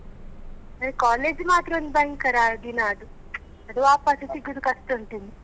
ಅಂದ್ರೆ college ಮಾತ್ರ ಒಂದು ಭಯಂಕರ ದಿನ ಅದು ಅದು ವಾಪಾಸ್ ಸಿಗುದು ಕಷ್ಟ ಉಂಟು ಇನ್ನು.